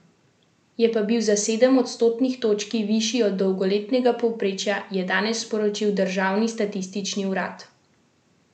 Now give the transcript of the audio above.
Je pa bil za sedem odstotnih točki višji od dolgoletnega povprečja, je danes sporočil državni statistični urad.